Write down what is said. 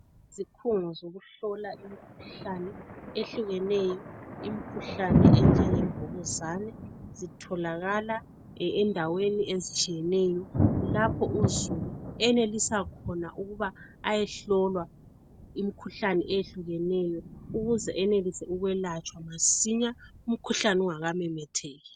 Iziphungo zokuhlola imikhuhlane eminengi imikhuhlane eyehlukeneyo enjengemvukuzane zitholakala endaweni ezitshiyeneyo lapho uzulu enelisa khona ukuthi ayehlolwa imikhuhlane eyehlukeneyo ukuze ayelatshwa masinya umkhuhlane ungamemetheki.